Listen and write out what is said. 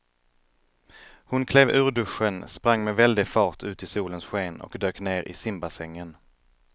Hon klev ur duschen, sprang med väldig fart ut i solens sken och dök ner i simbassängen.